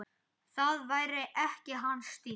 Það væri ekki hans stíll.